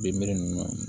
Binbere nunnu na